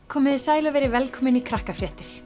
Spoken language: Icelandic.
komiði sæl og verið velkomin í Krakkafréttir